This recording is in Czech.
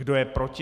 Kdo je proti?